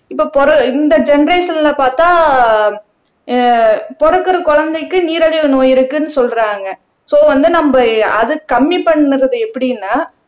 இப்ப பொற இந்த ஜெனெரேஷன்ல பாத்தா ஆஹ் பொறக்குற குழந்தைக்கு நீரழிவு நோய் இருக்குன்னு சொல்றாங்க சோ வந்து நம்ம அது கம்மி பண்றது எப்படின்னா